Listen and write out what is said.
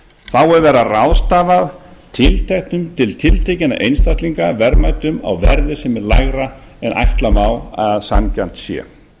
er verið að ráðstafa til tiltekinna einstaklinga verðmætum á verði sem er lægra en ætla má að sanngjarnt sé